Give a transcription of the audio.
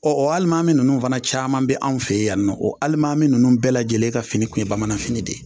Ɔ o alimami minnu ninnu fana caman bɛ anw fɛ yan nɔ o alimami ninnu bɛɛ lajɛlen ka fini tun ye bamananfini de ye